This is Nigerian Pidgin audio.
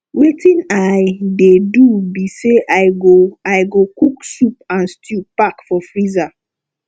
wetin i dey do be say i go i go cook soup and stew pack for freezer